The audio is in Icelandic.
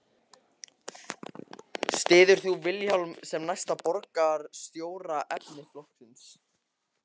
Sigmundur Ernir: Styður þú Vilhjálm sem næsta borgarstjóraefni flokksins?